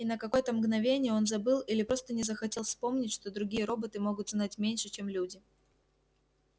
и на какое то мгновение он забыл или просто не захотел вспомнить что другие роботы могут знать меньше чем люди